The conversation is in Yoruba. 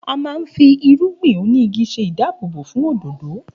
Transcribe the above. A máa ń fi irúgbìn oní igi ṣe ìdáàbòbò fún òdòdó